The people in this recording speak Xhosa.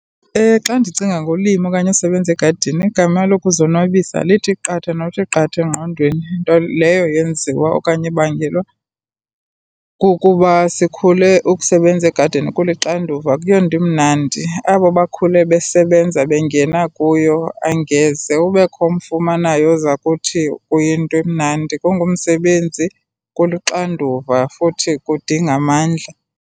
Ewe, xa ndicinga ngolima okanye usebenze egadini, igama lokuzonwabisa lithi qatha nokuthi qatha engqondweni, nto leyo yenziwa okanye ebangelwa kukuba sikhule ukusebenza egadini kulixanduva, akuyonto imnandi. Abo bakhule besebenza bengena kuyo, angeze ubekho umfumanayo oza kuthi kuyinto emnandi. Kungumsebenzi, kuluxanduva futhi kudinga amandla.